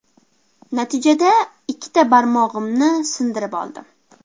Natijada ikkita barmog‘imni sindirib oldim.